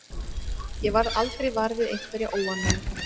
Ég varð aldrei var við einhverja óánægju.